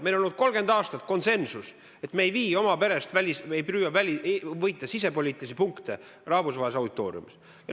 Meil on olnud 30 aastat konsensus, et me ei püüa võita sisepoliitilisi punkte rahvusvahelises auditooriumis.